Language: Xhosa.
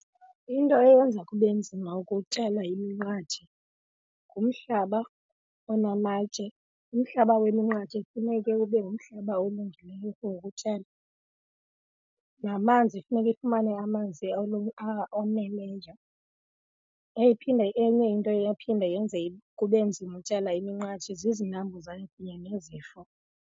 Into eyenza kube nzima ukutyala iminqathe ngumhlaba onamatye. Umhlaba weminqathe funeke ube ngumhlaba olungileyo for ukutyala, namanzi funeka ifumane amanzi oneleyo. Phinde enye into eyaphinde yenze kube nzima ukutyala iminqathe zizinambuzane kunye nezifo.